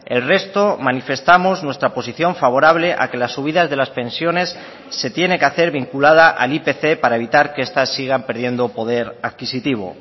el resto manifestamos nuestra posición favorable a que las subidas de las pensiones se tiene que hacer vinculada al ipc para evitar que estas sigan perdiendo poder adquisitivo